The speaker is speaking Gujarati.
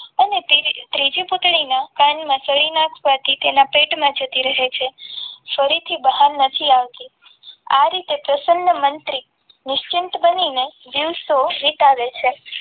અને તેને ત્રીજી પુતળીના કાનમાં સળી નાખવાથી તેના પેટમાં જતી રહે છે સળી થી બહાર નથી આવતી. આ રીતે પ્રસન્ન મંત્રી નિશ્ચિત બનીને દિવસો વિતાવે છે.